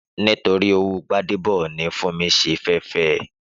Nítorí owó Gbádébọ̀ ni Fúnmi ṣe fẹ́ fẹ